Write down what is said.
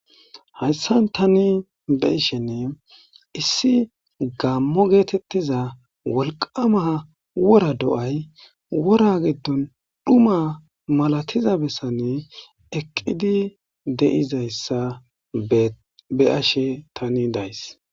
Hayssan tani be ishenne issi gammo geetettiza wolqama wora do7ay wora giddon dhuma malatiza bessanne eqqidi deizayssa be ashe tani days